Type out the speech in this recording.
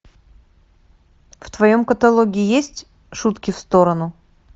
в твоем каталоге есть шутки в сторону